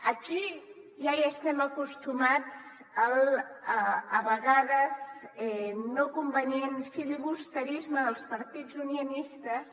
aquí ja hi estem acostumats a vegades al no convenient filibusterisme dels partits unionistes